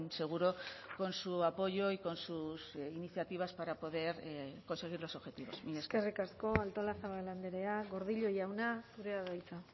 seguro con su apoyo y con sus iniciativas para poder conseguir los objetivos eskerrik asko artolazabal andrea gordillo jauna zurea da hitza